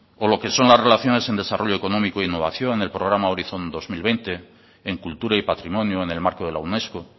o lo que son las relaciones en desarrollo económico e innovación el programa horizon dos mil veinte en cultura y patrimonio en el marco de la unesco